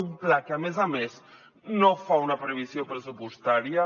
un pla que a més a més no fa una previsió pressupostària